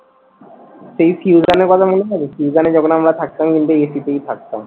সেই ফিউশান এর কথা মনে আছে? ফিউশন এ যখন আমরা থাকতাম কিন্তু AC তেই থাকতাম।